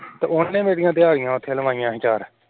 ਤੇ ਉਹਨੇ ਮੇਰੀਆਂ ਦਿਹਾੜਿਆਂ ਉਥੇ ਲਵਾਈਆਂ ਸੀ ਚਾਰ